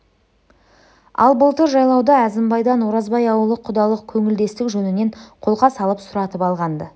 ал былтыр жайлауда әзімбайдан оразбай аулы құдалық көңілдестік жөнінен қолқа салып сұратып алған-ды